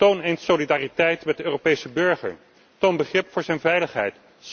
uit. Toon eens solidariteit met de Europese burger, toon begrip voor zijn veiligheid.